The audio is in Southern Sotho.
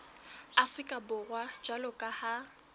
afrika borwa jwalo ka ha